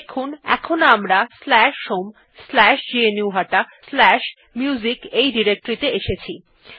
দেখুন এখন আমরা homegnuhataMusic ত়ে এসেছি